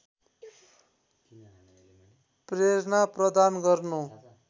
प्रेरणा प्रदान गर्नु